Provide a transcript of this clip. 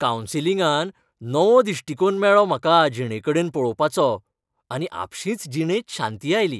कावन्सिलिंगान नवो दिश्टिकोण मेळ्ळो म्हाका जिणेकडेन पळोवपाचो, आनी आपशींच जिणेंत शांती आयली.